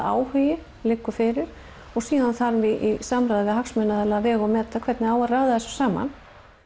áhugi liggur fyrir og síðan þarf í samráði við hagsmunaaðila að vega og meta hvernig á að raða þessu saman